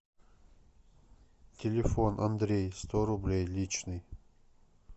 телефон андрей сто рублей личный